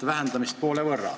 vähendamist poole võrra.